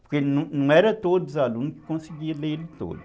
Porque não eram todos os alunos que conseguiam ler ele todo.